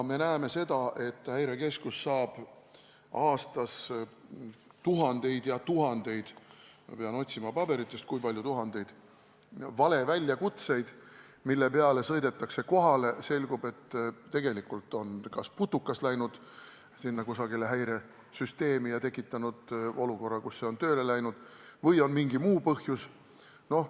Me näeme seda, et Häirekeskus saab aastas tuhandeid ja tuhandeid – ma pean otsima paberitest, kui palju tuhandeid – valeväljakutseid, mille peale sõidetakse kohale, kus selgub, et tegelikult on kas mõni putukas läinud kusagile häiresüsteemi ja tekitanud olukorra, kus see on tööle läinud, või on mingi muu põhjus.